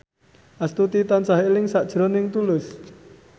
Astuti tansah eling sakjroning Tulus